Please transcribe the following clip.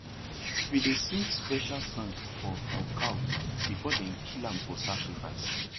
we dey sing special song for for cow before dem kill am for sacrifice